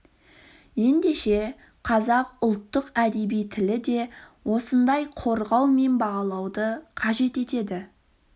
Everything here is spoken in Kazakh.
ендеше қазақ ұлттық әдеби тілі де осындай қорғау мен бағалауды қажет етеді